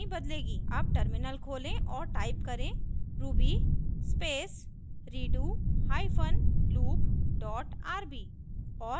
अब टर्मिनल खोलें और टाइप करें ruby space redo hyphen loop dot rb